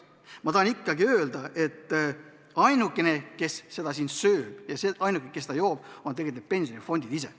Ma tahan ikkagi öelda, et ainukesed, kes seda raha söövad, ja ainukesed, kes seda joovad, on tegelikult pensionifondid ise.